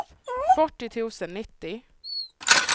fyrtio tusen nittio